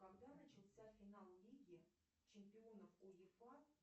когда начался финал лиги чемпионов уефа